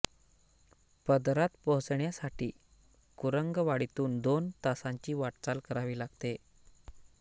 पदरात पोहोचण्यासाठी कुरंगवाडीतून दोन तासांची वाटचाल करावी लागते